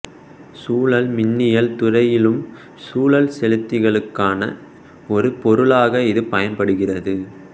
சுழல் மின்னியல் துறையிலும் சுழல் செலுத்திகளுக்கான ஒரு பொருளாக இது பயன்படுகிறது